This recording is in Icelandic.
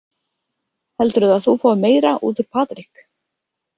Heldurðu að þú fáir meira út úr Patrik?